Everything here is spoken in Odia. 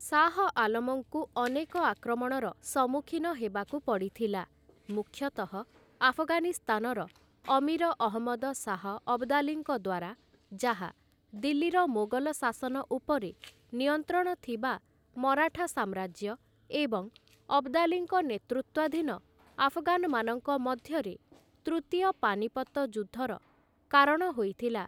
ଶାହ ଆଲମଙ୍କୁ ଅନେକ ଆକ୍ରମଣର ସମ୍ମୁଖୀନ ହେବାକୁ ପଡ଼ିଥିଲା, ମୁଖ୍ୟତଃ ଆଫଗାନିସ୍ତାନର ଅମୀର ଅହମ୍ମଦ ଶାହ ଅବଦାଲୀଙ୍କ ଦ୍ୱାରା, ଯାହା, ଦିଲ୍ଲୀର ମୋଗଲ ଶାସନ ଉପରେ ନିୟନ୍ତ୍ରଣ ଥିବା ମରାଠା ସାମ୍ରାଜ୍ୟ ଏବଂ ଅବଦାଲୀଙ୍କ ନେତୃତ୍ୱାଧୀନ ଆଫଗାନମାନଙ୍କ ମଧ୍ୟରେ ତୃତୀୟ ପାନିପତ ଯୁଦ୍ଧର କାରଣ ହୋଇଥିଲା ।